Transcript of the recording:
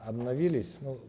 обновились ну